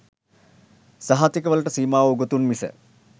සහතික වලට සීමාවූ උගතුන් මිස